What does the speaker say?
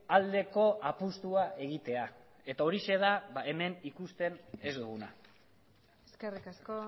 aldeko apustua egitea eta horixe da hemen ikusten ez duguna eskerrik asko